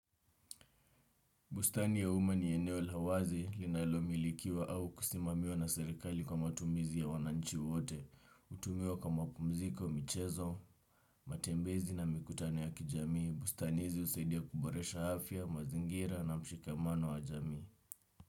Bustani ya umma ni eneo lawazi linalo milikiwa au kusimamiwa na serikali kwa matumizi ya wananchi wote, utumiwa kwa mapumziko, michezo, matembezi na mikutano ya kijamii, bustani hizi usaidia kuboresha afya, mazingira na mshikamano wa jamii.